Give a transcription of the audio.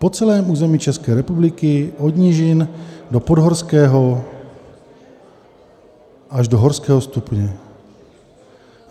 Po celém území České republiky od nížin do podhorského, až do horského stupně.